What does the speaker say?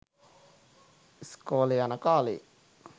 ස්කොලෙ යන කාලේ.